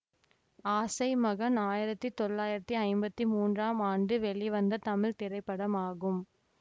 ஆசை மகன் ஆயிரத்தி தொள்ளாயிரத்தி ஐம்பத்தி மூன்றாம் ஆண்டு வெளிவந்த தமிழ் திரைப்படமாகும்